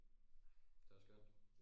Det var skønt